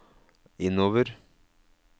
innover